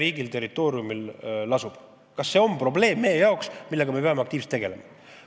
Kas see on meie jaoks probleem, millega me peame aktiivselt tegelema?